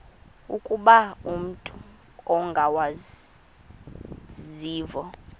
ukuba umut ongawazivo